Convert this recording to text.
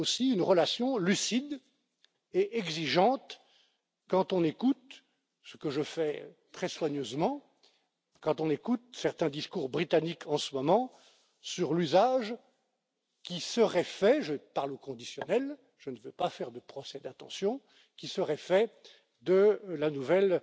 Une relation lucide et exigeante, quand on écoute ce que je fais très soigneusement certains discours britanniques en ce moment sur l'usage qui serait fait je parle au conditionnel, je ne veux pas faire de procès d'intention de la nouvelle